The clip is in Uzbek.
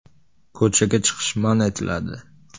“Ko‘chaga chiqish man etiladi.